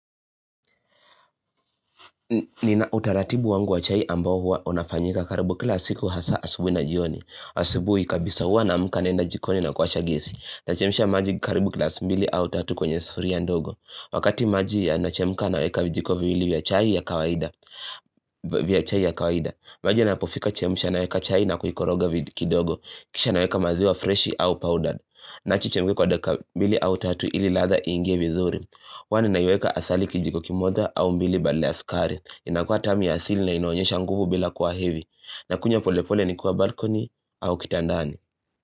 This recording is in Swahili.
Nina utaratibu wangu wa chai ambao huwa unafanyika karibu kila siku hasa asubuhi na jioni. Asubuhi kabisa huwa naamka naenda jikoni na kuwasha gesi. Nachemsha maji karibu glasi mbili au tatu kwenye sufuria ndogo. Wakati maji yanachemka naweka vijiko viwili vya chai ya kawaida. Maji yanapofika chemsha naweka chai na kuikoroga kidogo. Kisha naweka maziwa fresh au powdered. Naacha ichemke kwa dakika mbili au tatu ili ladha iingie vizuri. Kwani naiweka asali kijiko kimoja au mbili badala ya sukari. Inakua tamu ya asili na inaonyesha nguvu bila kwa hevi. Nakunywa pole pole nikuwa balkoni au kitandani.